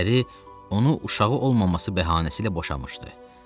Əri onu uşağı olmaması bəhanəsi ilə boşatmışdı.